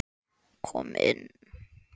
Kom inn